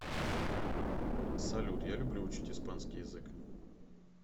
салют я люблю учить испанский язык